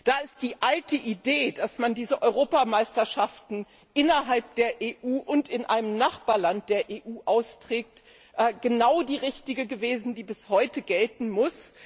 Da ist die alte Idee, dass man diese Europameisterschaft innerhalb der EU und in einem Nachbarland der EU austrägt, genau die richtige gewesen, die bis heute gelten muss.